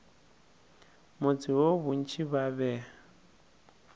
motse woo bontši ba be